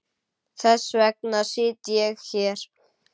Þess vegna sit ég hér.